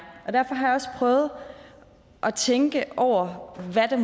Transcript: derfor har jeg også prøvet at tænke over hvad det